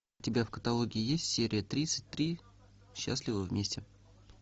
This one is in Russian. у тебя в каталоге есть серия тридцать три счастливы вместе